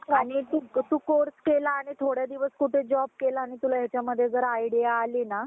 तु course केला आणि थोडे दिवस कुठं job केला आणि तुला हेच्यामध्ये जर idea आली ना